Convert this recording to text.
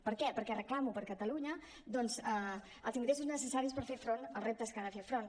per què perquè reclamo per catalunya doncs els ingressos necessaris per fer front als reptes que ha de fer front